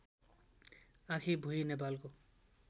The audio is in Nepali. आँखीभुई नेपालको